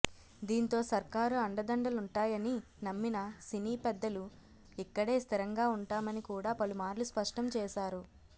దీంతో సర్కారు అండదండలుంటాయని నమ్మిన సినీ పెద్దలు ఇక్కడే స్థిరంగా ఉంటామని కూడా పలుమార్లు స్పష్టం చేశారు